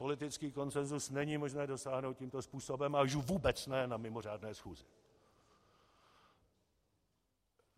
Politický konsensus není možné dosáhnout tímto způsobem, a už vůbec ne na mimořádné schůzi.